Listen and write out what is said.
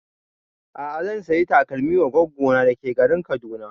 A'a zan saya takalmin wa goggo na da ke garin Kaduna